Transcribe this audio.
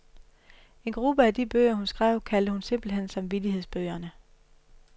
En gruppe af de bøger, hun skrev, kaldte hun simpelt hen samvittighedsbøgerne.